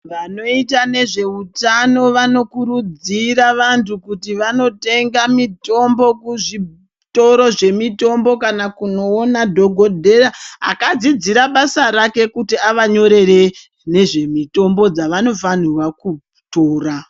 Vanoita nezveutano vanokurudzira vandu kuti vandotenga mitombo kuzvitoro zvemutombo kana kunoonaa dhokodheya akadzidziswe basa rake kuti avanyorere nezvemitombo dzavanofanire kutora.